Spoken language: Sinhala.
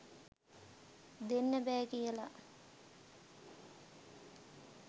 දෙන්න බෑ කියල